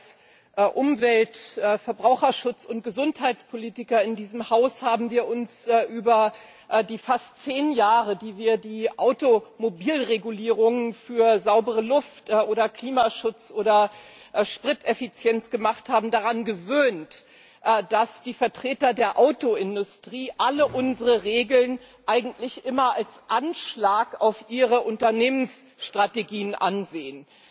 Als Umwelt Verbraucherschutz und Gesundheitspolitiker in diesem Haus haben wir uns über die fast zehn Jahre, in denen wir die Automobil-Regulierungen für saubere Luft oder Klimaschutz oder Spriteffizienz gemacht haben, daran gewöhnt, dass die Vertreter der Autoindustrie alle unsere Regeln eigentlich immer als Anschlag auf ihre Unternehmensstrategien ansehen.